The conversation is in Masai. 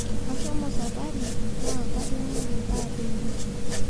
Kashomo sapari naa katungayie ndaa teinie